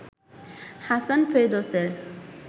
Hasan ফেরদৌসের